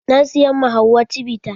Na siyan ma hauwa cibita.